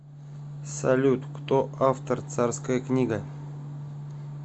салют кто автор царская книга